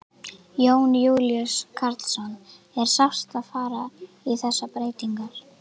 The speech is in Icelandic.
Jón Júlíus Karlsson: Er sárt að fara í þessar breytingar?